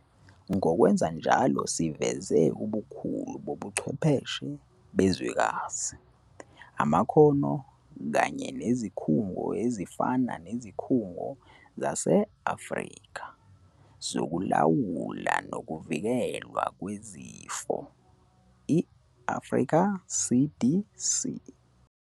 Ngokwenza njalo siveze ubukhulu bobuchwepheshe bezwekazi, amakhono kanye nezikhungo ezifana neZikhungo zase-Afrika Zokulawula Nokuvikelwa Kwezifo, i-Africa CDC.